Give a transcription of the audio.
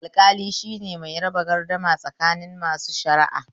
Alƙali shine mai raba gardama tsakanin masu shara'a.